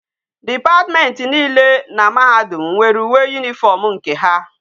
Department niile na mahadum nwere uwe uniform nke ha